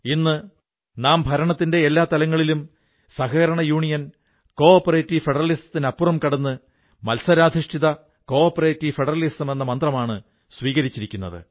ഇന്ന് നാം ഭരണത്തിന്റെ എല്ലാ തലത്തിലും സഹകരണ ഫെഡറലിസത്തിനുമപ്പുറം കടന്ന് മത്സരാധിഷ്ഠിത സഹകരണ ഫെഡറലിസമെന്ന മന്ത്രമാണ് സ്വീകരിച്ചിരിക്കുന്നത്